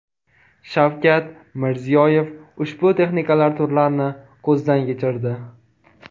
Shavkat Mirziyoyev ushbu texnikalar turlarini ko‘zdan kechirdi.